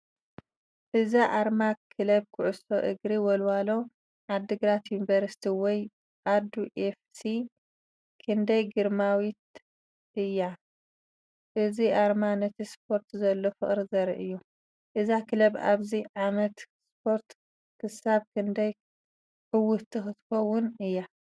እዛ ኣርማ ክለብ ኩዕሶ እግሪ ወልወሎ ዓድግራት ዩኒቨርሲቲ ወይ ኣዱ ኤፍ ሲ** ክንደይ ግርማዊት እያ! እዚ ኣርማ ነቲ ስፖርት ዘሎ ፍቕሪ ዘርኢ እዩ።** እዛ ክለብ ኣብዚ ዓመተ ስፖርት ክሳብ ክንደይ ዕውትቲ ክትከውን እያ?